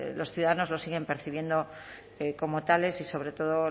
los ciudadanos lo siguen percibiendo como tales y sobre todo